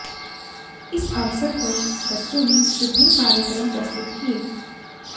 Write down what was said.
इस अवसर पर बच्चों ने विभिन्न कार्यक्रम प्रस्तुत किए